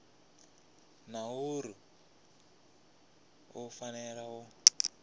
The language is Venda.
na uri u fanela u